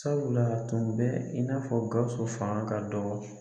Sabula a tun bɛ in n'a fɔ Gawusu fanga ka dɔgɔ